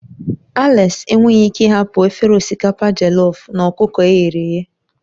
Alex enweghị ike ịhapụ efere osikapa jellof na ọkụkọ e ghere eghe.